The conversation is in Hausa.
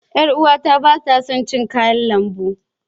Yar uwata ba ta son cin kayan lambu.